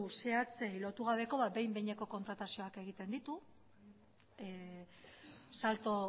zehatzen lotu gabeko behin behineko kontratazioak egiten ditu salto